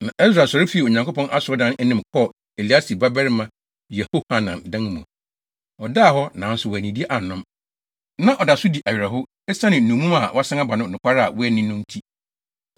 Na Ɛsra sɔre fii Onyankopɔn Asɔredan no anim kɔɔ Eliasib babarima Yehohanan dan mu. Ɔdaa hɔ, nanso wannidi annom. Na ɔda so di awerɛhow esiane nnommum a wɔasan aba no nokware a wɔanni no nti.